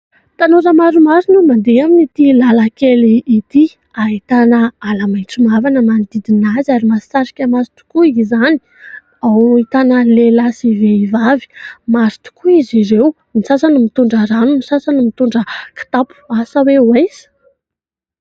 Tanora maromaro no mandeha amin'ity lalan-kely ity : ahitana ala maitso mavana manodidina azy ary mahasarika ny maso tokoa izany, ao no ahitana lehilahy sy vehivavy maro tokoa izy ireo, ny sasany mitondra rano, ny sasany ny mitondra kitapo asa hoe ho aiza ?